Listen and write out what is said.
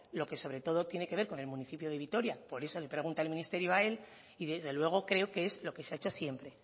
lo que sobre todo tiene que ver con el municipio de vitoria por eso le pregunta el ministerio a él y desde luego creo que es lo que se ha hecho siempre